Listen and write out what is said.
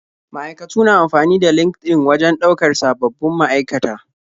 Ma'aikatu na amfani da LinkedIn wajen ɗaukar sababbin ma'aikata.